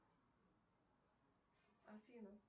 афина